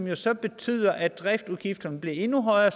jo så betyder at driftsudgifterne bliver endnu højere